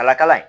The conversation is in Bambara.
Kala kala ye